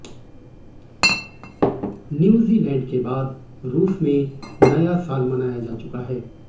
New Zealand के बाद रुस में नया साल मनाया जा चुका है